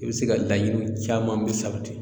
I bɛ se ka laɲini caman bɛɛ sabati